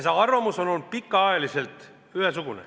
See arvamus on olnud pikka aega ühesugune.